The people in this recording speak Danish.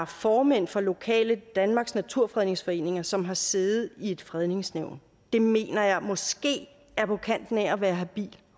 formænd for lokale afdelinger af danmarks naturfredningsforening som har siddet i et fredningsnævn det mener jeg måske er på kanten af at være habil